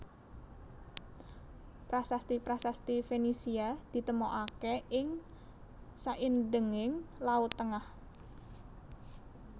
Prasasti prasasti Fenisia ditemokaké ing saindhenging Laut Tengah